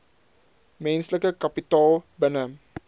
menslike kapitaal binne